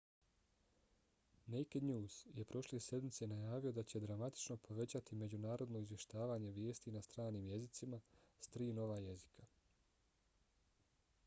naked news je prošle sedmice najavio da će dramatično povećati međunarodno izvještavanje vijesti na stranim jezicima s tri nova jezika